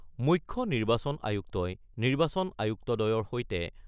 মুখ্য নিৰ্বাচন আয়ুক্তই নিৰ্বাচন আয়ুক্তদ্বয়ৰ সৈতে